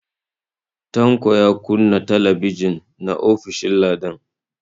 Tanko yana kunna TV na ofishin Ladan.